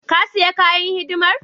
Ka sayi kayan hidimar?